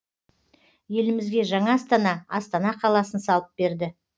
елімізге жаңа астана астана қаласын салып берді